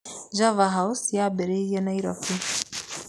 Java House yambĩrĩirie Nairobi.